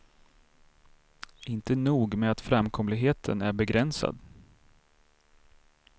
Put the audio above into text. Inte nog med att framkomligheten är begränsad.